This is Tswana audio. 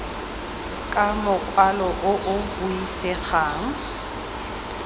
ka mokwalo o o buisegang